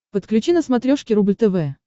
подключи на смотрешке рубль тв